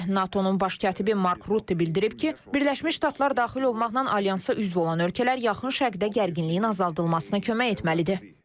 NATO-nun baş katibi Mark Rutte bildirib ki, Birləşmiş Ştatlar daxil olmaqla alyansa üzv olan ölkələr yaxın şərqdə gərginliyin azaldılmasına kömək etməlidir.